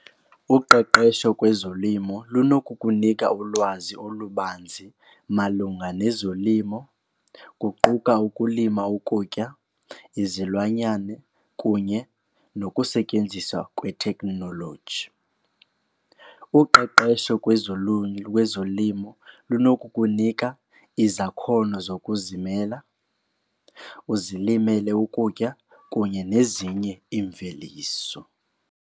Uqeqesho kwezolimo lunokukunika ulwazi olubanzi malunga nezolimo kuquka ukulima ukutya, izilwanyane kunye nokusetyenziswa kwethekhnoloji. Uqeqesho lwezolimo linokukunika izakhono zokuzimela uzilimele ukutya kunye nezinye imveliso.